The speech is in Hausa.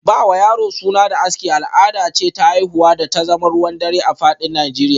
Ba wa yaro suna da aski, al’ada ce ta haihuwa da ta zama ruwan dare a fadin Nijeriya